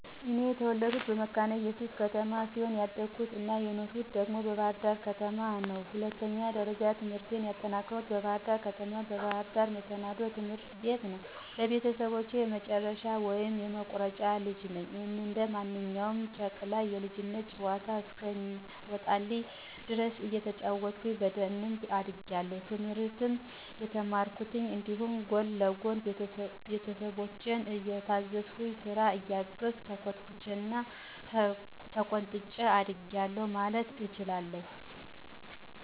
እኔ የተወለድኩት መካነ እየሱስ ከተማ ሲሆን ያደኩት አና የኖርሁት ደግሞ በባህር ዳር ከተማ ነው። ሁለተኛ ደረጃ ትምህርቴንም ያጠናቀኩት በባህር ደር ከተማ፣ በባህር ዳር መሰናዶ ትምህርት ቤት ነው። ለቤተሰቦቸ የመጨረሻ ወይም የመቁረጫ ልጅ ነኝ። እንደ ማንኛውም ጨቅላ የልጅነት ጨዋታ እስከሚወጣልኝ ድረስ እየተጫወትኩኝ በደንብ አድጌአለሁ፤ ትምህርትን እየተማርኩኝ እንዲሁም ጎን ለጎን ቤተሰቦቸን እየታዘዝኩ፥ ስራ እያገዝሁ፣ ተኮትኩቸና ተቆንጥጨ አድጌአለሁ ማለት እችላለሁ።